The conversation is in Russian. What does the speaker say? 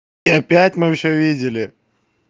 и опять мы всё видели